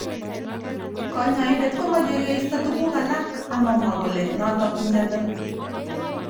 Kanyoindet komeche koisto tukuk alak amamwa kole notok mnyendo.